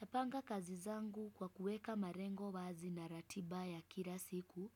Napanga kazi zangu kwa kuweka marengo wazi na ratiba ya kila siku.